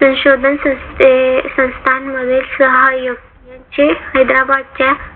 संशोधन संस्था मधील सहाय्यक यांचे हैदराबादच्या